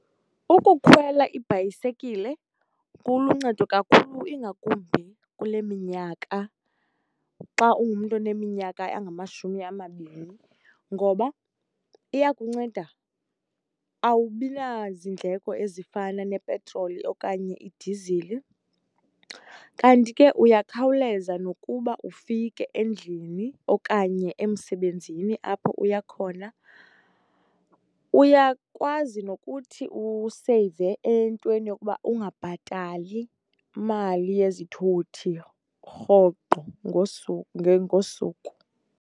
Ukukhwela ibhayisekile kuluncedo kakhulu ingakumbi kule minyaka xa ungumntu oneminyaka engamashumi amabini ngoba iyakunceda. Awubi nazindleko ezifana nepetroli okanye idizili, kanti ke uyakhawuleza nokuba ufike endlini okanye emsebenzini apho uya khona. Uyakwazi nokuthi useyive entweni yokuba ungabhatali mali yezithuthi rhoqo ngosuku.